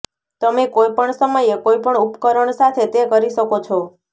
તમે કોઈપણ સમયે કોઈપણ ઉપકરણ સાથે તે કરી શકો છો